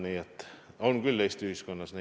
Nii et tõesti selliseid Eesti ühiskonnas on.